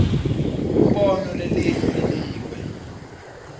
umbono lelinye linikwe